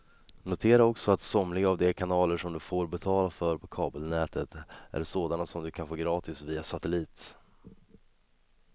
Notera också att somliga av de kanaler som du får betala för på kabelnätet är sådana som du kan få gratis via satellit.